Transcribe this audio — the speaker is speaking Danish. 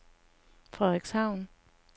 Frederikshavn